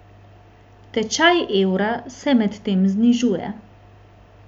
Tečaj evra se medtem znižuje.